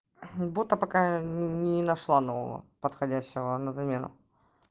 бота пока не нашла нового подходящего на замену